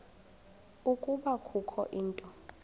ukuba kukho into